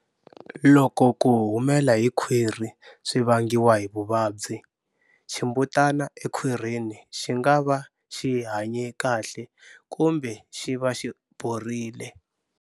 Loko ku humela hi khwiri swi vangiwa hi vuvabyi, ximbutana ekhwirini xi nga va xi hanye kahle kumbe xi va xi borile.